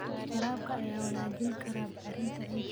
Waraabka ayaa wanaajin kara bacrinta ciidda.